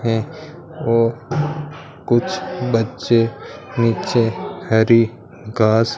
हैं और कुछ बच्चे नीचे हरी घास--